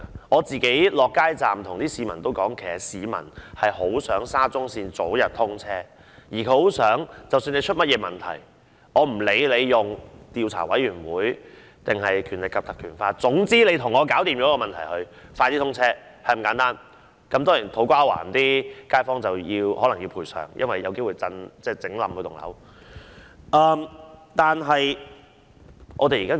我到街站跟市民溝通，其實市民很想沙中線早日通車，而無論出現甚麼問題，不管是由政府的調查委員會還是引用《條例》調查，總之把問題解決，早日通車，便是那麼簡單，當然還要賠償給土瓜灣的街坊，因為工程有機會令他們的大廈倒塌。